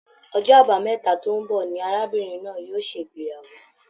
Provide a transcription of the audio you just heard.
Ọjọ́ àbámẹ́ta tó n bọ ní arábìnrin náà yóò ṣe ìgbéyàwó.